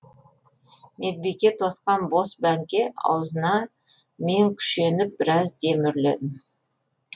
медбике тосқан бос бәңке аузына мен күшеніп біраз дем үрледім